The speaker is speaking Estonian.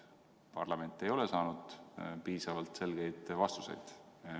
Aga parlament ei ole saanud piisavalt selgeid vastuseid.